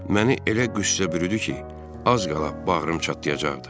Məni elə qüssə bürüdü ki, az qala bağrım çatlayacaqdı.